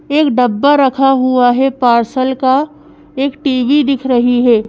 एक डब्बा रखा हुआ है पार्सल का एक टी_वी दिख रही है।